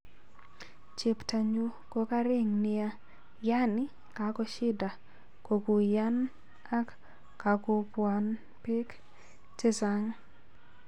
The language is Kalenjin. Cheptonyu ko karing nia, yaani kakoshida kokuyan ak kakopwan pek cheng chaaan'g